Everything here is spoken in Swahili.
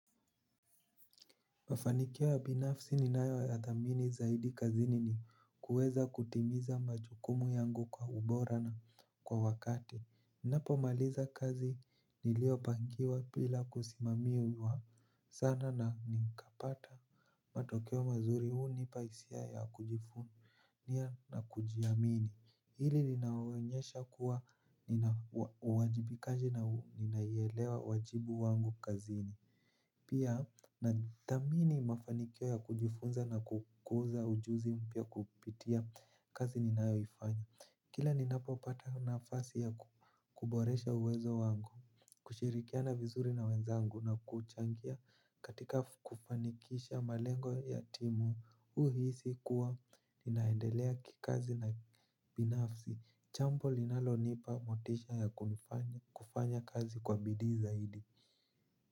Mafanikio ya binafsi ninayo ya dhamini zaidi kazini ni kuweza kutimiza majukumu yangu kwa ubora na kwa wakati. Ninapo maliza kazi niliyopangiwa bila kusimamiwa sana na nikapata. Matokeo mazuri hunipa hisia ya kujivunia na kujiamini. Hili linaonyesha kuwa nina uwajibikaji na ninaielewa wajibu wangu kazini. Pia nadhamini mafanikio ya kujifunza na kukuza ujuzi mpya kupitia kazi ninayoifanya. Kila ninapo pata nafasi ya kuboresha uwezo wangu kushirikiana vizuri na wenzangu na kuchangia katika kufanikisha malengo ya timu huhisi kuwa ninaendelea kikazi na binafsi jambo linalonipa motisha ya kufanya kazi kwa bidii zaidi.